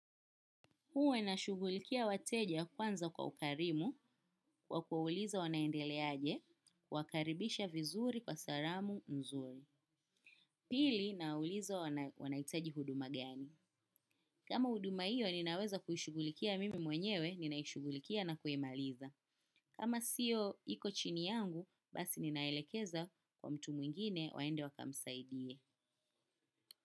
Uwe nashugulikia wateja kwanza kwa ukarimu kwa kuwauliza wanaendelea aje kuwakaribisha vizuri kwa salamu nzuri. Pili nawauliza wanahitaji huduma gani. Kama huduma hiyo ninaweza kuishughulikia mimi mwenyewe ninaishughulikia na kuimaliza. Kama siyo iko chini yangu basi ninaelekeza kwa mtu mwingine waende wakamsaidie.